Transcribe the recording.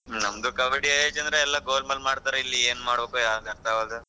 ನಮ್ದು ಕಬ್ಬಡಿ ಏನ್ ಚಂದ್ರ ಎಲ್ಲಾ golmaal ಮಾಡ್ತಾರೆ ಇಲ್ಲಿ ಏನ್ ಮಾಡ್ಬೇಕೋ ಯಾವ್ದು ಅರ್ಥ ಆಗವಲ್ದು.